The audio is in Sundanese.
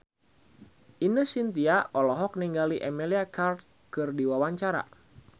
Ine Shintya olohok ningali Emilia Clarke keur diwawancara